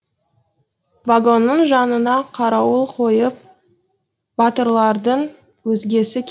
вагонның жанына қарауыл қойып батырлардың өзгесі